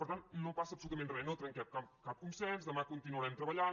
per tant no passa absolutament res no trenquem cap consens demà continuarem treballant